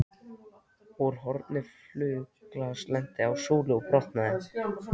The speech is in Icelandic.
Úr horni flaug glas, lenti á súlu og brotnaði.